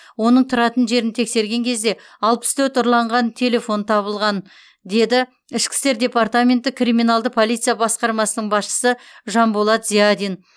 оның тұратын жерін тексерген кезде алпыс төрт ұрланған телефон табылған деді ішкі істер департаменті криминалды полиция басқармасының басшысы жанболат зиадин